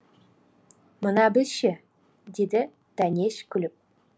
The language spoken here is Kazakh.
мына біз ше деді дәнеш күліп